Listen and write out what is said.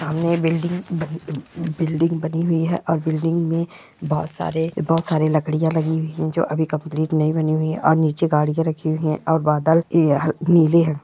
सामने ये बिल्डिंग ब ब बिल्डिंग बनी हुई है और बिल्डिंग में बहोत सारे बहोत सारे लकड़ियां लगी हुई है जो अभी कंप्लीट नहीं बनी हुई है और नीचे गाड़ियां रखी हुई है और बादल ए ह नीले है।